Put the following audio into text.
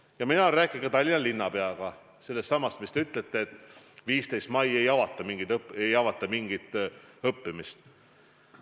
Ja ma olen rääkinud ka Tallinna linnapeaga sellestsamast teie viidatud otsusest, et 15. mail ei avata mingit õppimist.